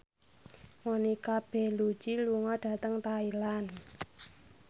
Monica Belluci lunga dhateng Thailand